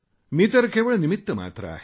मी तर केवळ निमित्तमात्र आहे